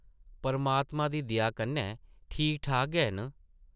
परमात्मा दी दया कन्नै ठीक ठाक गै न ।